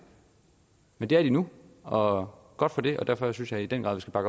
men det er de nu og godt for det og derfor synes jeg i den grad at